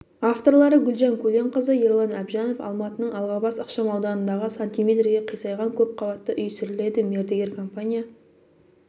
авторлары гүлжан көленқызы ерлан әбжанов алматының алғабас ықшам ауданындағы сантиметрге қисайған көпқабатты үй сүріледі мердігер компания